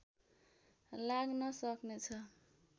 लाग्न सक्नेछ